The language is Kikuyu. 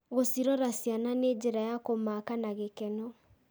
Gũcirora ciana nĩ njĩra ya kũmaaka na gĩkeno.